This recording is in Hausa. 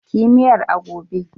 Ki yi miyar a gobe!